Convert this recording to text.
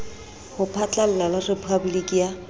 ho phatlalla le rephaboliki ya